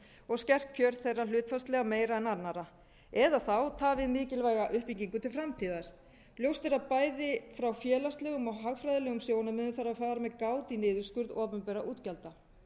og skert kjör þeirra hlutfallslega meira en annarra eða þá tafið mikilvæga uppbyggingu til framtíðar ljóst er að bæði frá félagslegum og hagfræðilegum sjónarmiðum þarf að fara með gát í niðurskurð opinberra útgjalda